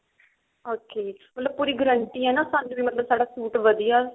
okay ਮਤਲਬ ਪੂਰੀ guarantee ਮਤਲਬ ਸਾਡਾ ਸੂਟ ਵਧੀਆ